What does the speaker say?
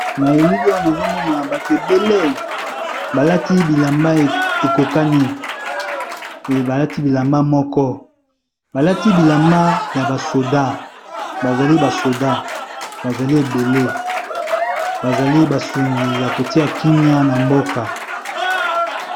Na elili oyo, nazo mona bato ebele balati bilamba ekokani. Balati bilamba moko ; balati bilamba ya basoda. Bazali basoda, bazali ebele. Bazali basungi ya kotia kimia na mboka.